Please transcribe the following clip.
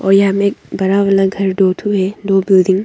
और यहां में बड़ा वाला घर दो ठो है दो बिल्डिंग --